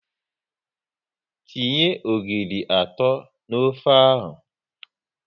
Tinye ogiri atọ n'ofe ahụ!